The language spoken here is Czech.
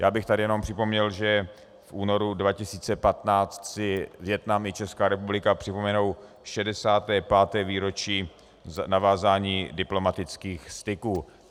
Já bych tady jenom připomněl, že v únoru 2015 si Vietnam i Česká republika připomenou 65. výročí navázání diplomatických styků.